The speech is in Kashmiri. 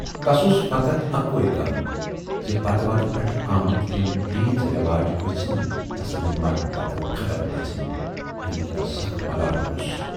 تَس اوس فقط اکُے غم زِ پتہٕ وتہٕ پٮ۪ٹھٕ آمٕتۍ یِم ریٖژ رٮ۪واج گٔژھۍ نہٕ تسٕندِ مَرنہٕ پَتہٕ ختٕم گَژھٕنۍ، ییمیُک تَس سخ ملالہٕ اوس۔